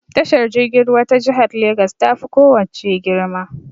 Tashar jirgin ruwa ta jihar Legas ta fi ko wace girma.